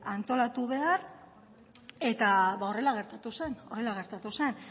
antolatu behar eta horrela gertatu zen